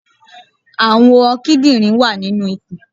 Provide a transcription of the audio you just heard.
Àwọn kídìnrín wà nínu ikùn